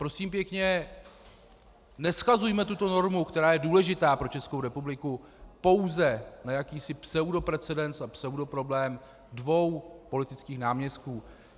Prosím pěkně, neshazujme tuto normu, která je důležitá pro Českou republiku, pouze na jakýsi pseudoprecedens a pseudoproblém dvou politických náměstků.